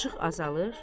İşıq azalır.